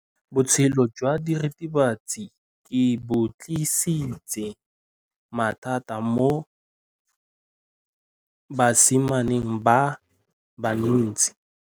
Botshelo jwa diritibatsi ke bo tlisitse mathata mo basimaneng ba bantsi.